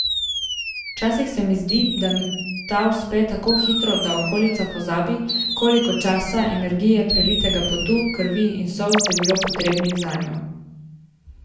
Včasih se mi zdi, da mi ta uspe tako hitro, da okolica pozabi, koliko časa, energije, prelitega potu, krvi in solz je bilo potrebnih zanjo.